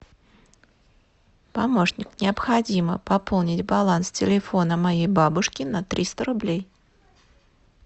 помощник необходимо пополнить баланс телефона моей бабушки на триста рублей